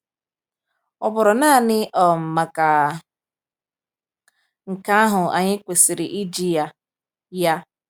Ọ bụrụ naanị um maka nke ahụ, anyị kwesịrị iji ya. ya.